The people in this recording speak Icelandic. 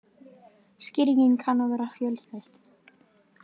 Skýringin kann að vera fjölþætt.